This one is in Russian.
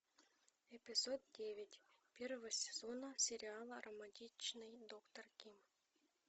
эпизод девять первого сезона сериала романтичный доктор ким